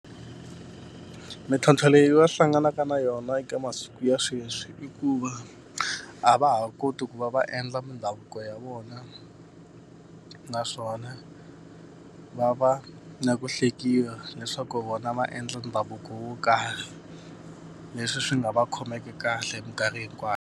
Mintlhontlho leyi va hlanganaka na yona eka masiku ya sweswi i ku va a va ha koti ku va va endla mindhavuko ya vona, naswona va va na ku hlekiwa leswaku vona va endla mindhavuko yo karhi. Leswi swi nga va khomeki kahle minkarhi hinkwayo.